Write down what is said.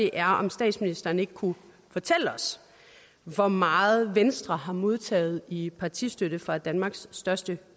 er om statsministeren ikke kunne fortælle os hvor meget venstre har modtaget i partistøtte fra danmarks største